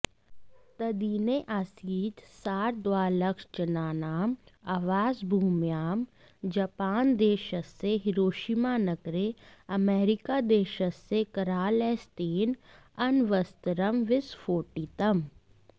तद्दिने आसीत् सार्धद्विलक्षजनानाम् आवासभूम्यां जापानदेशस्य हिरोषिमा नगरे अमेरिकादेशस्य करालहस्तेन अण्वस्त्रं विस्फोटितम्